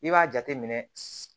I b'a jateminɛ